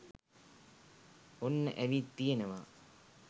ඔන්න ඇවිත් තියෙනවා.